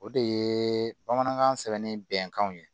O de ye bamanankan sɛbɛnni bɛnkanw ye